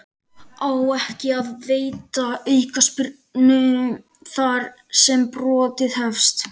Á ekki að veita aukaspyrnu þar sem brotið hefst?